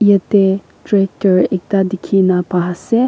Yate tractor ekta delhe kena ba sa.